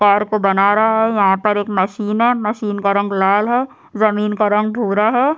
Car को बना रहा है यहाँ पर एक मशीन है मशीन का रंग लाल है जमीन का रंग भूरा है।